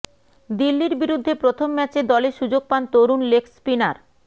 দিল্লির বিরুদ্ধে প্রথম ম্যাচে দলে সুযোগ পান তরুণ লেগ স্পিনার